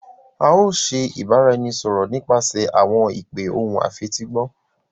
A o ṣe ibaraẹnisọrọ nipasẹ awọn ipe ohùn afetigbọ